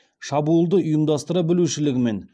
шабуылды ұйымдастыра білушілігімен